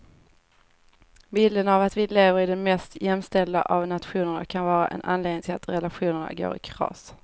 Bilden av att vi lever i den mest jämställda av nationer kan vara en anledning till att relationer går i kras.